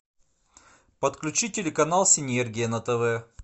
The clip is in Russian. подключи телеканал синергия на тв